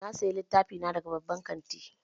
Na sayi litattafai na daga babban kanti